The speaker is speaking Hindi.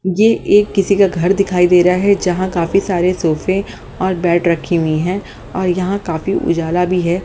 ये एक किसी का घर दिखाई दे रहा है जहां काफी सारे सोफे और बेड रखी हुई हैं और यहां काफी उजाला भी है।